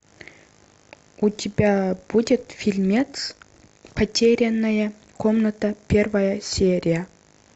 у тебя будет фильмец потерянная комната первая серия